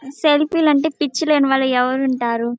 Selfie లు అంటే పిచ్చి లేని వాళ్ళు ఎవరుంటారు.